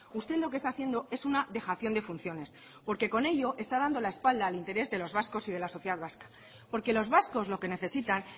usted lo que está haciendo es una dejación de funciones porque con ello está dando la espalda al interés de los vascos y de la sociedad vasca porque los vascos lo que necesitan